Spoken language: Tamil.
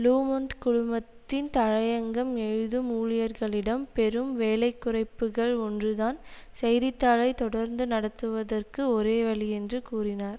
லு மொன்ட் குழுமத்தின் தலையங்கம் எழுதும் ஊழியர்களிடம் பெரும் வேலைக்குறைப்புக்கள் ஒன்றுதான் செய்தித்தாளை தொடர்ந்து நடத்துவதற்கு ஒரே வழி என்று கூறினார்